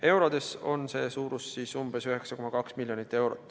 Eurodes on see umbes 9,2 miljonit.